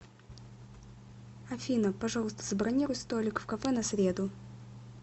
афина пожалуйста забронируй столик в кафе на среду